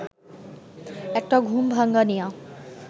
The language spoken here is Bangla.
একটা ঘুম-ভাঙানিয়া